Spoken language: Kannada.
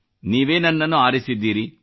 ನೀವೇ ನನ್ನನ್ನು ಆರಿಸಿದ್ದೀರಿ